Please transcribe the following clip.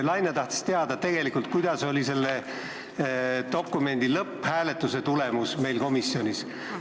Ta tahtis tegelikult teada, milline oli selle dokumendi lõpphääletuse tulemus komisjonis.